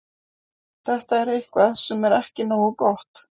Þetta er eitthvað sem er ekki nógu gott.